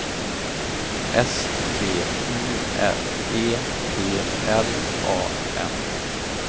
S T U R E P L A N